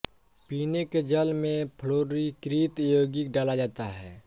पीने के जल में फ्लोरीकृत यौगिक डाला जाता है